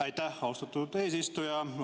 Aitäh, austatud eesistuja!